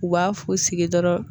U b'a fu sigi dɔrɔn